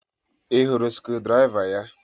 Ị hụrụ screwdriver ya?